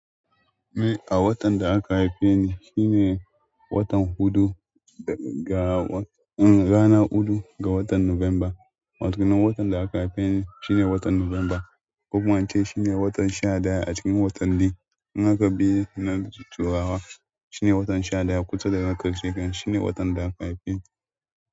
Ni a watan da aka haife ni shine watan huɗu ga wa-- um rana huɗu ga watan Nuwamba. Wa ke nan watan da aka haife ni shine watan Nuwamba. Ko kuma in ce shine watan sha ɗaya a cikin watanni. In aka bi na turawa shine watan sha ɗaya. Kusa da na ƙarshe shine watan da aka haife ni.